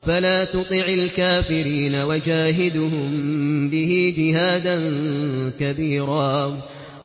فَلَا تُطِعِ الْكَافِرِينَ وَجَاهِدْهُم بِهِ جِهَادًا كَبِيرًا